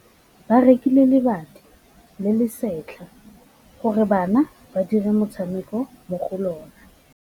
Ba rekile lebati le le setlha gore bana ba dire motshameko mo go lona.